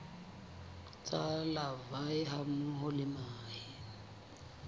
tsa larvae hammoho le mahe